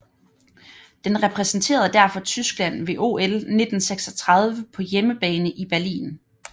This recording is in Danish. Den repræsenterede derfor Tyskland ved OL 1936 på hjemmebane i Berlin